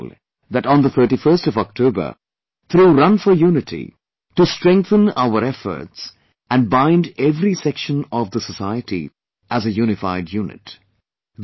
I urge you all that on October 31, through 'Run for Unity', to strengthen our efforts and bind every section of the society as a unified unit